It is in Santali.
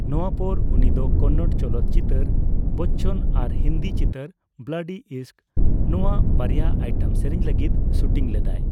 ᱱᱚᱣᱟ ᱯᱚᱨᱮ ᱩᱱᱤᱫᱚ ᱠᱚᱱᱱᱚᱲ ᱪᱚᱞᱚᱛ ᱪᱤᱛᱟᱹᱨ ᱵᱚᱪᱪᱚᱱ ᱟᱨ ᱦᱤᱱᱫᱤ ᱪᱤᱛᱟᱹᱨ ᱵᱞᱟᱰᱤ ᱤᱥᱠ ᱱᱚᱣᱟ ᱵᱟᱨᱭᱟ ᱟᱭᱴᱮᱢ ᱥᱮᱨᱮᱧ ᱞᱟᱹᱜᱤᱫ ᱥᱩᱴᱤᱝ ᱞᱮᱫᱟᱭ ᱾